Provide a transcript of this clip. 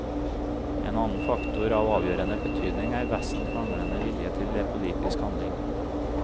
En annen faktor av avgjørende betydning er vestens manglende vilje til politisk handling.